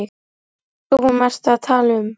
Hvað í ósköpunum ertu að tala um?